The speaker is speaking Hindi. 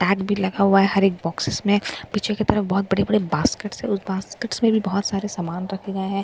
टैग भी लगा हुआ है हर एक बॉक्सएक्स में पीछे की तरफ बहुत बड़े बड़े बास्केट हैं उस बास्केट में भी बहुत सारे सामान रखे गए हैं जैसे कि --